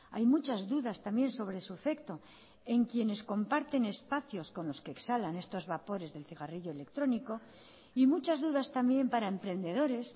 hay muchas dudas también sobre su efecto en quienes comparten espacios con los que exhalan estos vapores del cigarrillo electrónico y muchas dudas también para emprendedores